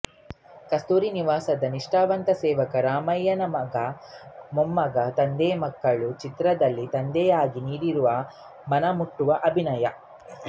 ಕಸ್ತೂರಿ ನಿವಾಸದ ನಿಷ್ಠಾವಂತ ಸೇವಕ ರಾಮಯ್ಯ ಮಗ ಮೊಮ್ಮಗ ತಂದೆಮಕ್ಕಳು ಚಿತ್ರದಲ್ಲಿ ತಂದೆಯಾಗಿ ನೀಡಿರುವ ಮನ ಮುಟ್ಟುವ ಅಭಿನಯ